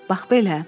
Bax belə.